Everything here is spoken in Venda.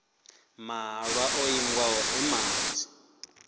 mahalwa o ingiwaho e manzhi